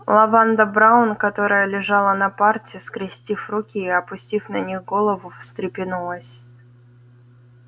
лаванда браун которая лежала на парте скрестив руки и опустив на них голову встрепенулась